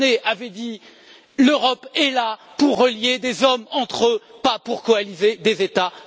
Monnet avait dit L'Europe est là pour relier des hommes entre eux, pas pour coaliser des États.